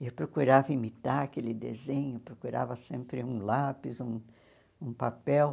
Eu procurava imitar aquele desenho, procurava sempre um lápis, um um papel.